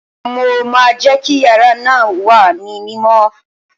Mo máa jẹ́ kí yàrá náà wà ní mímọ́